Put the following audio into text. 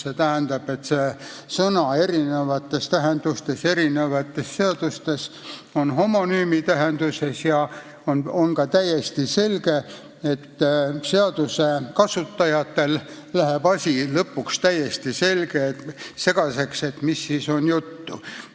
Eri seadustes on see sõna erinevates tähendustes homonüümidena ja on ka täiesti selge, et seaduste kasutajatel läheb asi lõpuks täiesti segaseks – millest ikkagi on juttu.